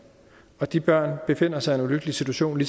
de børn befinder sig i en ulykkelig situation